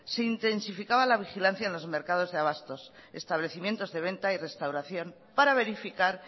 se intensificaba la vigilancia en los mercado de abastos establecimientos de venta y restauración para verificar